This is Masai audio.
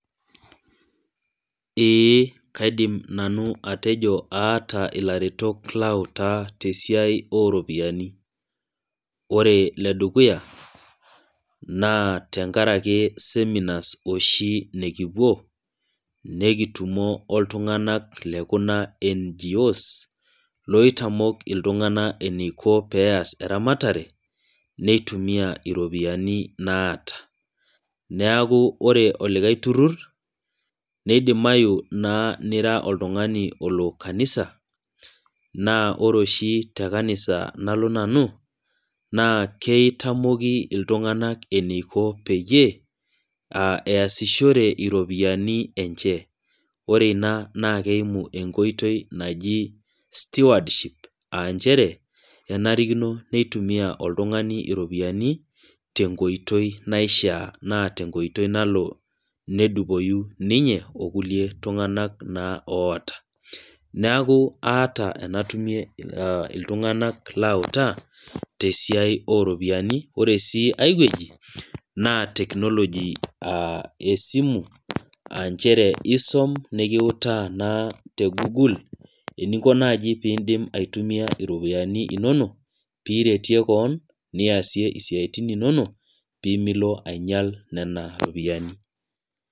ee kaidim nanu atejo aata ilaretok lautaa te siai ooropiyiani. ore ile dukuya naa tenakaraki seminars oshi nikipuo nikitumo oltunganak kulo le NGO's loitamok iltungana eniko pee ees eramatre neitumia iropiyiani naata. neeku ore olikae turur neidimayu naa nira oltungani olo kanisa. naa ore oshi te kanisa nalo nanu naa kitamoki iltungank eneiko peyie eesishore iropiyiani enche. ore ina naa keimu enkoitoi naji stewardship.aa nchere kenarikino nitumia oltungani iropiyinani te nkoitoi naishaa, naa tenkoitoi nalo nedupoyu ninye okulie tunganak naa oota. neeku aata enatumie iltunganak. alautaa tesiai oo ropiyiani. ore sii ae wueji naa technology esimu aa nchere isum nikiutaa naa te google eninko naaji pee idim aitumia iropiyiani inonok pee iretie kewon niasie isiatin inonok. pee milo aing'iel nena ropiyiani.